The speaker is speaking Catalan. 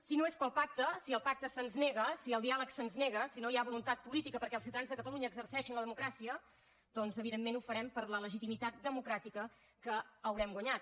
si no és pel pacte si el pacte se’ns nega si el diàleg se’ns nega si no hi ha voluntat política perquè els ciutadans de catalunya exerceixin la democràcia doncs evidentment ho farem per la legitimitat democràtica que haurem guanyat